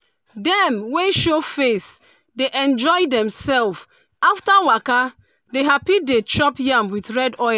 dem wey show facedey enjoy demself after waka dey happy dey chop yam with red oil